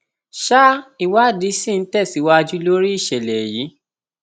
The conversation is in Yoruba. sa ìwádìí sí ń tẹsíwájú lórí ìṣẹlẹ yìí